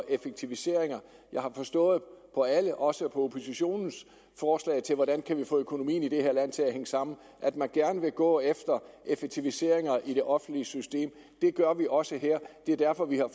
effektiviseringer jeg har forstået på alle også på oppositionens forslag til hvordan vi kan få økonomien i det her land til hænge sammen at man gerne vil gå efter effektiviseringer i det offentlige system det gør vi også her det er derfor vi har